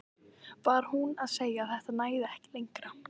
Var hún að segja að þetta næði ekki lengra?